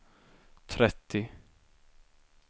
trettio